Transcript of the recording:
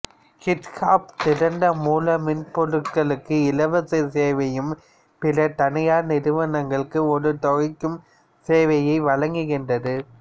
GitHub திறந்த மூல மென்பொருள்களுக்கு இலவச சேவையையும் பிற தனியார் நிறுவனங்களுக்கு ஒரு தொகைக்கும் சேவையை வழங்குகின்றது